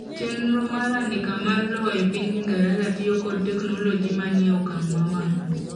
chenro mar andika mar lowo e piny ingereza tiyo kod teknoloji manieokang' mamalo